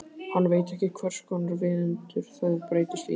Hann veit ekki hverskonar viðundur þið breytist í.